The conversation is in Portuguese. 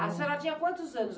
A senhora tinha quantos anos?